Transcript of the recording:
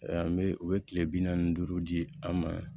An bɛ u bɛ kile bi naani ni duuru di an ma